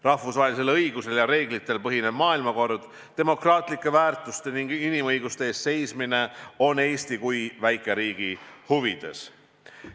Rahvusvahelisel õigusel ja reeglitel põhinev maailmakord, demokraatlike väärtuste ning inimõiguste eest seismine on Eesti kui väikeriigi huvides.